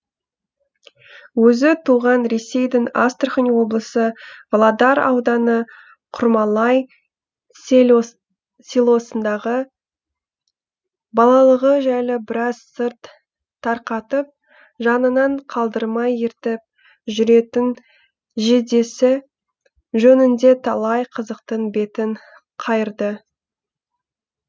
өзі туған ресейдің астрахань облысы володар ауданы құрмалай селосындағы балалығы жайлы біраз сыр тарқатып жанынан қалдырмай ертіп жүретін жездесі жөнінде талай қызықтың бетін қайырды